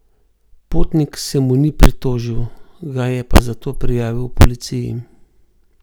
Potnik se mu ni pritožil, ga je pa zato prijavil policiji.